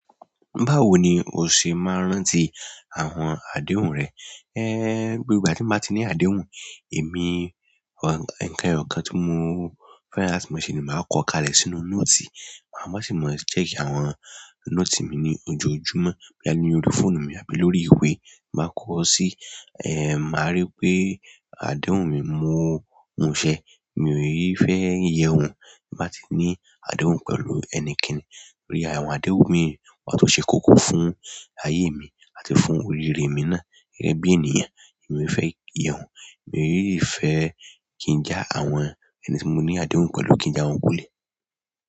Báwo ni o ṣe máa ń rántí àwọn adéhùn rẹ? Ehn, gbogbo ìgbà tí mo bá ti ní àdéhùn, èmi, nkan eyọ̀kán tí mo fẹ́ran láti mo ṣe ni màá kọ́ kalẹ̀ sínú nóòtì. Màá sì máa check àwọn note mi ní ojoojúmọ́, boya ni orí fóònù mi àbí lórí ìwé. Máa kọ̀ ọ́ sí, màá rí pé adéhùn mi mọ́ òun ṣẹ. Mi ò ii fẹ́ ye ohun tin ba ti ní àdéhùn pẹ̀lú ẹnikẹ́ni. Torí àwọn adéhùn mi, wọ́n tun ṣe kókó fún ayé mi àti fún orire mi náà. Gẹ́gẹ́ bí ènìyàn, èmi ò fẹ́ yehun, emi o si fẹ́ kí n já àwọn ẹni tí mo ní àdéhùn pẹ̀lú kí n já wọn kúlẹ̀.